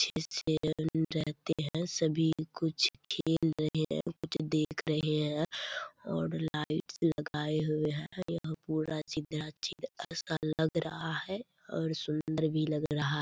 रहते हैं सभी कुछ खेल रहे हैं कुछ देख रहे हैं और लाइट्स लगाये हुए हैं यहाँ पूरा लग रहा है और सुंदर भी लग रहा --